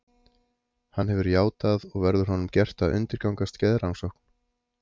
Hann hefur játað og verður honum gert að undirgangast geðrannsókn.